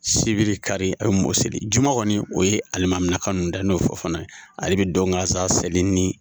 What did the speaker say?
Sibiri ,kari a be mɔɔw seli juma kɔni o ye alimaminaka nunnu da n'o ye fofana ye. Ale be don ganzan seli ni